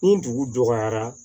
Ni dugu dɔgɔyara